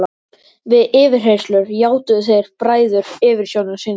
Við yfirheyrslur játuðu þeir bræður yfirsjónir sínar.